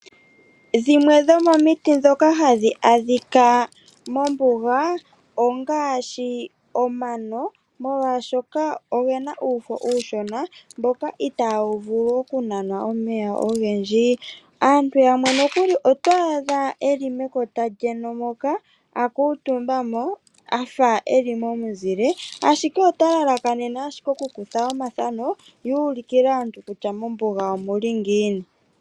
Dhimwe dhomomiti ndhoka hadhi adhika mombuga ongaashi omano molwaashoka ogena uuno uushona mboka itawu vulu oku nanwa omeya ogendji. Aantu yamwe nokuli oto adha eli mekota lyeno moka akuutumbamo efa eli momuzile ashike ota lalakanene ashike oku kutha omathano ye a ulikile aantu kutya mombuga omuli ngiini.